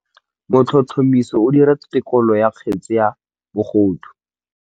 Motlhotlhomisi o dira têkolô ya kgetse ya bogodu.